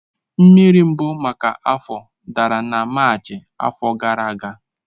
Mmiri mbụ maka afọ dara na Maachị afọ gara aga.